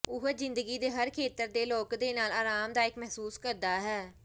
ਉਹ ਜ਼ਿੰਦਗੀ ਦੇ ਹਰ ਖੇਤਰ ਦੇ ਲੋਕ ਦੇ ਨਾਲ ਆਰਾਮਦਾਇਕ ਮਹਿਸੂਸ ਕਰਦਾ ਹੈ